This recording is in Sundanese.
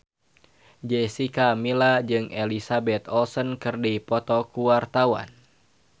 Jessica Milla jeung Elizabeth Olsen keur dipoto ku wartawan